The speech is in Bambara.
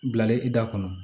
Bilalen i da kɔnɔ